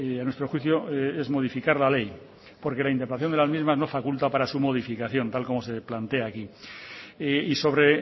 a nuestro juicio es modificar la ley porque la interpretación de las mismas no faculta para su modificación tal como se plantea aquí y sobre